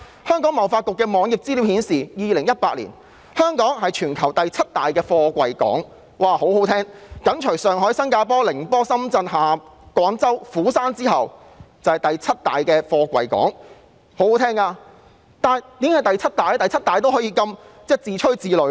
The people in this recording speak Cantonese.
香港貿易發展局網頁的資料顯示，香港在2018年是全球第七大貨櫃港，享負盛名，香港緊隨上海、新加坡、寧波、深圳、廣州、釜山之後，成為第七大貨櫃港，為何僅居第七仍可以自吹自擂呢？